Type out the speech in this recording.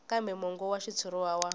kambe mongo wa xitshuriwa wa